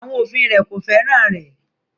Àwọn òfin rẹ̀ kò fẹ́ràn rẹ̀